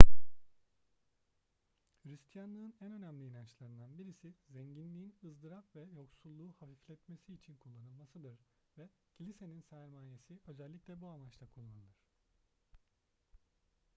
hristiyanlığın en önemli inançlarından birisi zenginliğin ızdırap ve yoksulluğu hafifletmesi için kullanılmasıdır ve kilisenin sermayesi özellikle bu amaçla kullanılır